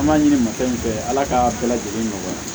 An b'a ɲini mafɛn fɛ ala k'a bɛɛ lajɛlen nɔgɔya